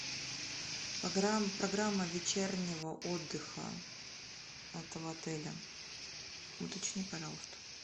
программа вечернего отдыха этого отеля уточни пожалуйста